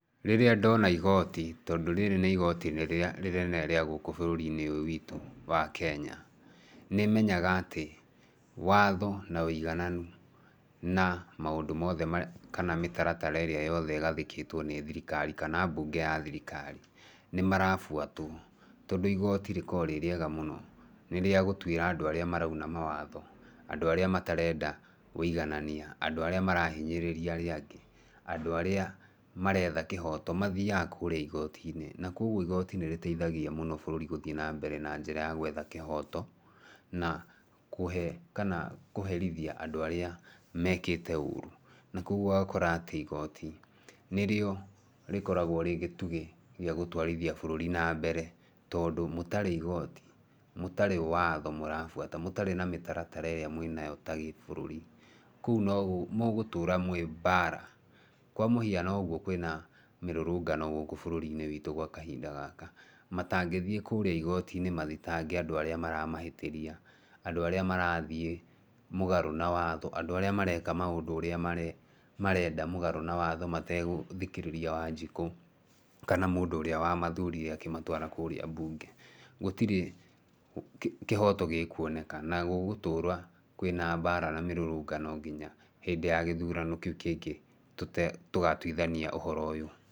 Rĩrĩa ndona igoti tondũ rĩrĩ nĩ igoti rĩrĩa rĩnene rĩa gũkũ bũrũri-inĩ ũyũ witũ wa Kenya. Nĩmenyaga atĩ watho na ũigananu na maũndũ mothe kana mĩtaratara ĩrĩa yothe ĩgathĩkĩtwo nĩ thirikari kana mbunge ya thirikari nĩ marabuatwo. Tondũ igoti rĩkoragwo rĩ rĩega mũno, nĩ rĩa gũtuĩra andũ arĩa marauna mawatho, andũ arĩa matarenda ũiganania, andũ arĩa marahinyĩrĩrĩa arĩa angĩ mathiaga kũrĩa igoti-inĩ. Na koguo igoti nĩ rĩteithagia mũno bũrũri gũthiĩ na mbere na njĩra ya gwetha kĩhoto mathiaga kũrĩa igoti-inĩ. Na koguo igoti nĩ rĩteithagia mũno bũrũri gũthiĩ na mbere na njĩra ya gwetha kĩhoto na kũhe kana kũherithia andũ arĩa mekĩte ũũru. Na koguo ũgakora atĩ igoti nĩrĩo rĩkoragwo rĩ gĩtugĩ gĩa gũtwarithia bũrũri na mbere, tondũ mũtarĩ igooti, mũtarĩ watho mũrabuata, mũtarĩ na mĩtaratara ĩrĩa mwĩnayo ta gĩbũrũri, kũu mũgũtũra mwĩ mbara. Kwa mũhiano ũguo kwĩna mĩrũrũngano gũkũ bũrũri-inĩ gwa kahinda gaka, matangĩthiĩ kũrĩa igoti-inĩ mathitange andũ arĩa maramahĩtĩria, andũ arĩa marathiĩ mũgarũ na watho, andũ arĩa mareka maũndũ ũrĩa marenda mũgarũ na watho mategũthikĩrĩria Wanjikũ, kana mũndũ ũrĩa wamathurire akĩmatwara kũrĩa mbunge, gũtirĩ kĩhoto gĩkuoneka. Na gũgũtũra kwĩna mbara na mĩrũrũngano nginya hĩndĩ ĩyo ya gĩthurano kĩu kĩngĩ tũgatuithania ũhoro ũyũ.